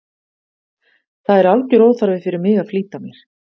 Það er algjör óþarfi fyrir mig að flýta mér.